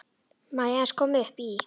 Má ég aðeins koma upp í?